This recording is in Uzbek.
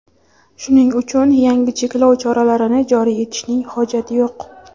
shuning uchun yangi cheklov choralarini joriy etishning hojati yo‘q.